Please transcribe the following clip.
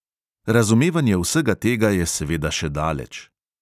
Razumevanje vsega tega je seveda še daleč.